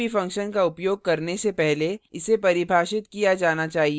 किसी भी function का उपयोग करने से पहले इसे परिभाषित किया जाना चाहिए